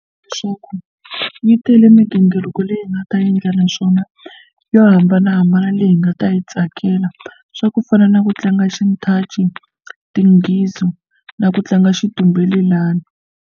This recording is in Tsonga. Leswaku yi tele migingiriko leyi hi nga ta endla naswona yo hambanahambana leyi hi nga ta yi tsakela swa ku fana na ku tlanga xinthaci tinghizi na ku tlanga xitumbelelani.